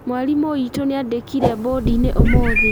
Mwarimũ witũ nĩandĩkire mbondi-inĩ ũmũthĩ